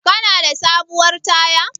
Kana da sabuwar taya?